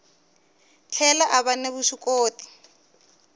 tlhela a va ni vuswikoti